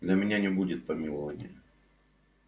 для меня не будет помилования